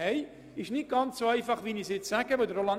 Das ist nicht ganz so einfach, wie es jetzt klingt;